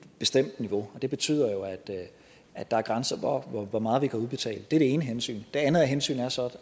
bestemt niveau og det betyder jo at der er grænser for hvor meget vi kan udbetale det er det ene hensyn det andet hensyn er så